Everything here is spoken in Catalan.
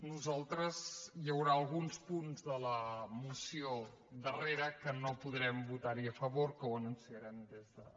nosaltres hi haurà alguns punts de la moció darrera que no podrem votar hi a favor que ho anunciarem des de l’escó